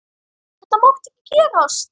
Þetta mátti ekki gerast!